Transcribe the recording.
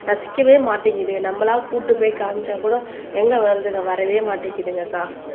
ரசிக்கவே மாட்டேங்குது நம்மளா கூட்டிட்டு போய் காமிச்சா கூட எங்க வருதுங்க வரவே மாட்டேங்குதுங்க அக்கா